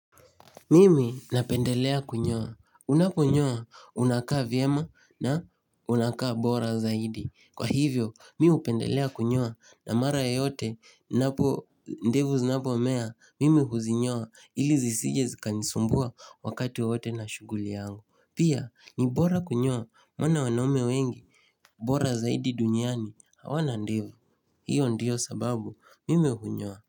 Mimi napendelea kunyoa. Unaponyoa unakaa vyema na unakaa bora zaidi. Kwa hivyo mi hupendelea kunyoa na mara yeyote napo ndevu zinapomea mimi huzinyoa ili zisije zikanisumbua wakati wowote na shughuli yangu. Pia ni bora kunyoa maana wanaume wengi bora zaidi duniani hawana ndevu. Hiyo ndiyo sababu mimi hunyoa.